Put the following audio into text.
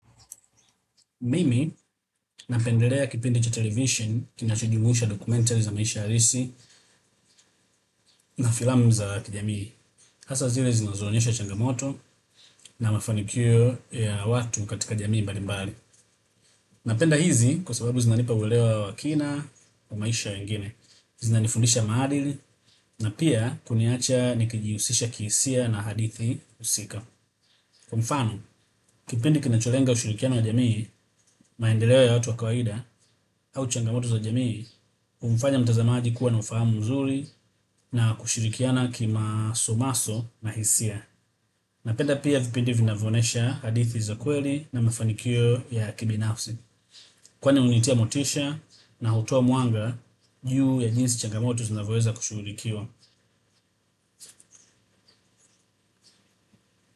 Mimi napendelea kipindi cha television kinachojumuisha documentary za maisha halisi na filamu za kijamii. Hasa zile zinazoonyesha changamoto na mafanikio ya watu katika jamii mbalimbali napenda hizi kwa sababu zinanipa uelewa wa kina wa maisha ya wengine. Zinanifundisha maadili na pia kuniacha nikijihusisha kihisia na hadithi husika. Kwa mfano, kipindi kinacholenga ushirikiano wa jamii, maendeleo ya watu wa kawaida, au changamoto za jamii, humfanya mtazamaji kuwa na ufahamu mzuri na kushirikiana kimasomaso na hisia. Napenda pia vipindi vinavyonyesha hadithi za kweli na mafanikio ya kibinafsi. Kwani hunitia motisha na hutoa mwanga juu ya jinsi changamoto zinavyoweza kushughulikiwa.